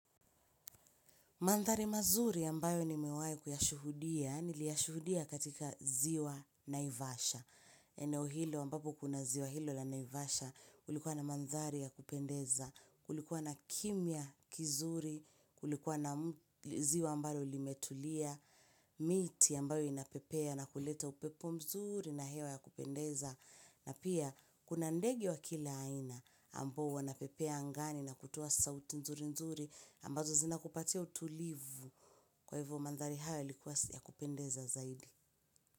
Mandhari mazuri ambayo nimewahi kuyashuhudia, niliyashuhudia katika ziwa naivasha. Eneo hilo ambapo kuna ziwa hilo la naivasha, kulikuwa na mandhari ya kupendeza, kulikuwa na kimya kizuri, kulikuwa na ziwa ambalo limetulia, miti ambayo inapepea na kuleta upepo mzuri na hewa ya kupendeza. Na pia, kuna ndege wa kila aina ambao wanapepea angani na kutoa sauti nzuri nzuri ambazo zinakupatia utulivu kwa hivyo mandhari haya yalikuwa ya kupendeza zaidi.